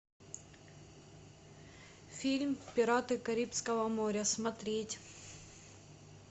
фильм пираты карибского моря смотреть